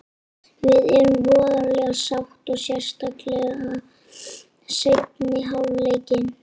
Við erum voðalega sátt og sérstaklega seinni hálfleikinn.